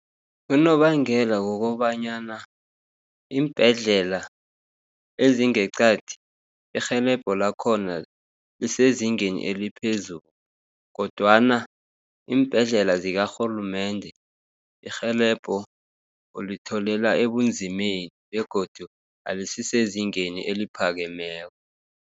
Unobangela wokobanyana, iimbhedlela ezingeqadi irhelebho lakhona lisezingeni eliphezulu, kodwana iimbhedlela zikarhulumende irhelebho ulitholela ebunzimeni, begodu alisisezingeni eliphakemeko.